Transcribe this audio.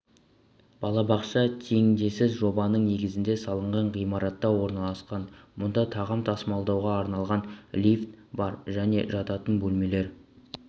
балабақша теңдессіз жобаның негізінде салынған ғимаратта орналасқан мұнда тағам тасымалдауға арналған лифт бар және жатын бөлмелер